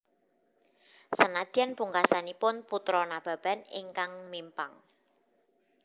Senadyan pungkasanipun Putra Nababan ingkang mimpang